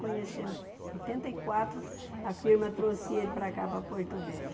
Conhecemos oitenta e quatro, a firma trouxe ele para cá, para Porto Velho.